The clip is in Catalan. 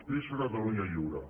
visca catalunya lliure